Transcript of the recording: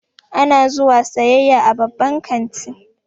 Ana zuwa sayayya a babban kanti